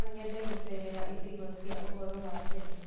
No nyende gũcerera icigo cia ũhoro wa tene.